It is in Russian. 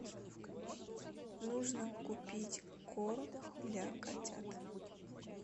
нужно купить корм для котят